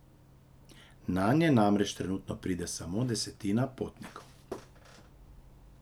Nanje namreč trenutno pride samo desetina potnikov.